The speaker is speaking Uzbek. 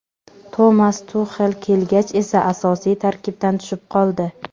Tomas Tuxel kelgach esa asosiy tarkibdan tushib qoldi.